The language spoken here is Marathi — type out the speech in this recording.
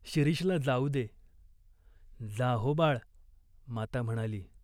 शिरीषला जाऊ दे." "जा हो, बाळ," माता म्हणाली.